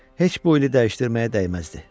Heç bu ili dəyişdirməyə dəyməzdi.